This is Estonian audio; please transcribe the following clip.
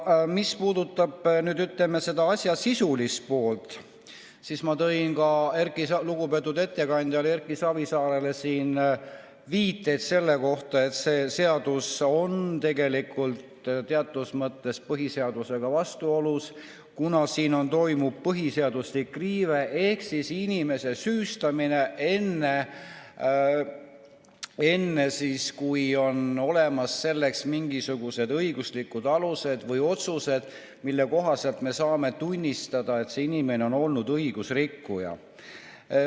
Mis puudutab selle asja sisulist poolt, siis ma tõin ka lugupeetud ettekandjale Erki Savisaarele siin viiteid selle kohta, et see eelnõu on tegelikult teatud mõttes põhiseadusega vastuolus, kuna siin esineb põhiseaduslikku riivet ehk inimest süüstatakse enne, kui selleks on olemas mingisugused õiguslikud alused või otsused, mille kohaselt me saame tunnistada, et see inimene on õigusrikkuja.